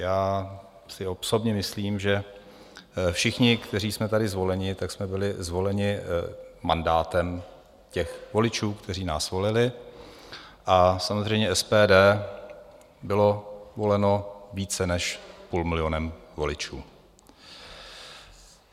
Já si osobně myslím, že všichni, kteří jsme tady zvoleni, tak jsme byli zvoleni mandátem těch voličů, kteří nás volili, a samozřejmě SPD bylo voleno více než půl milionem voličů.